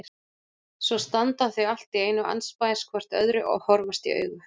Svo standa þau allt í einu andspænis hvort öðru og horfast í augu.